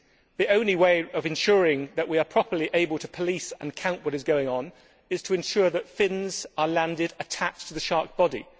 The only way of ensuring that we are properly able to police and quantify what is going on is to ensure that fins are landed attached to the shark's body.